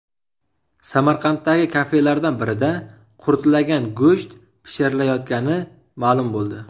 Samarqanddagi kafelardan birida qurtlagan go‘sht pishirilayotgani ma’lum bo‘ldi .